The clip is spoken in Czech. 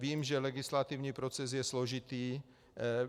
Vím, že legislativní proces je složitý.